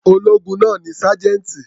Ológun náà ni sájẹ́ńtì.